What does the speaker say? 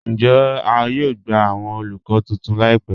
Ǹjẹ̀ à yóò gbà awọn olúkọ̀ tuntun láìpẹ̀?